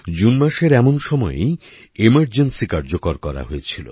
June মাসের এমন সময়েই এমার্জেন্সী কার্যকর করা হয়েছিল